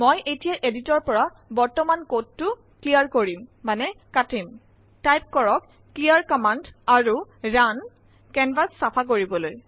মই এতিয়া এদিটৰৰ পৰা বৰ্তমান কোডটো ক্লিয়াৰ কৰিম মানে কাটিম টাইপ কৰক ক্লিয়াৰ কম্মান্দ আৰু ৰুণ কেনভাচ চফা কৰিবলৈ